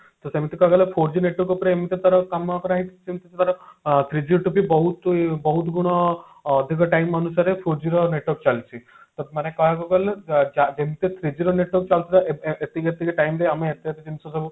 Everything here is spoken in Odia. ତ ସେମତି କହିବାକୁ ଗଲେ four G network ଉପରେ ଏମତି ତାର କାମ କରାହେଇଛି ଯେମତି ତାର three G ଠୁ ବି ଅ ବହୁତ ବହୁତ ଗୁଣ ଅଧିକ time ଅନୁସାରେ four G ର network ଚାଲିଛି ତ ମାନେ କହିବାକୁ ଗଲେ ଯ ଯ ଯେମତି three G ର network ଚାଲିଥିଲା ଏ ଏ ଏତିକି ଏତିକି time ରେ ଆମେ ଏତେ ଏତେ ଜିନିଷ ସବୁ